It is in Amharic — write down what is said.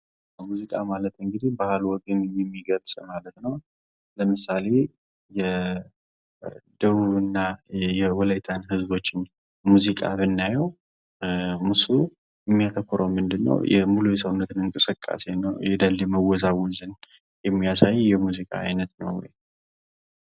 ሙዚቃ ማለት እንግዲህ ባህል ወግ የሚገልጽ ማለት ነው። ለምሳሌ የደቡብና የወላይታን ህዝቦች ሙዚቃ ብናየው አሁን እሱ የሚያተኩረው ምንድን ነው ሙሉ የሰውነት እንቅስቃሴን ነው የዳሌ መወዛወዝን የሚያሳይ የሙዚቃ አይነት ነው።